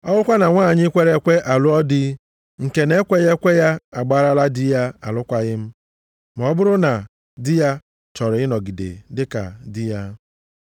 Ọ bụrụkwa na nwanyị kwere ekwe alụọ di nke na-ekweghị ekwe, ya agbarala di ya alụkwaghị m, ma ọ bụrụ na di ya chọrọ ịnọgide dịka di ya.